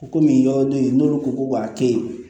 Komi yɔrɔ bɛ yen n'olu ko ko k'a to yen